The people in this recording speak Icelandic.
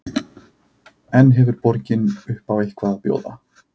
En hefur borgin upp á eitthvað að bjóða?